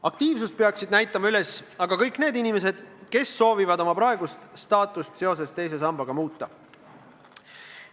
Aktiivsust peaksid üles näitama aga kõik need inimesed, kes soovivad oma praegust staatust seoses teise sambaga muuta.